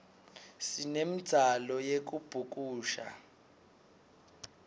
sinemdzalo yekubhukusha